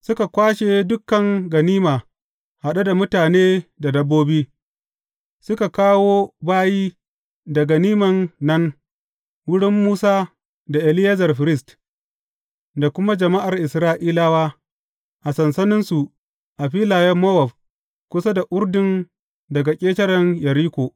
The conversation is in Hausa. Suka kwashe dukan ganima haɗe da mutane da dabbobi, suka kawo bayi da ganiman nan, wurin Musa da Eleyazar firist, da kuma jama’ar Isra’ilawa, a sansaninsu a filayen Mowab kusa da Urdun daga ƙetaren Yeriko.